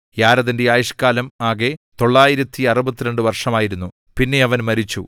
യാരെദിന്റെ ആയുഷ്കാലം ആകെ 962 വർഷമായിരുന്നു പിന്നെ അവൻ മരിച്ചു